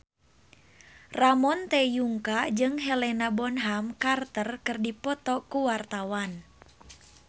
Ramon T. Yungka jeung Helena Bonham Carter keur dipoto ku wartawan